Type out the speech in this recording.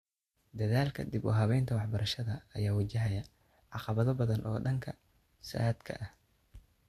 Dadaalka dib u habeynta waxbarashada ayaa wajahaya caqabado badan oo dhanka saadka ah.